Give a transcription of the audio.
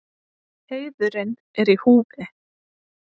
Heiðurinn er í húfi.